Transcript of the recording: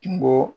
Kungo